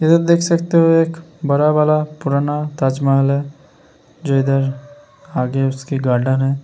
ये देख सकते हो एक बड़ा वाला पुराना ताज महल हैं जो इधर आरडीएफसी गार्डन हैं।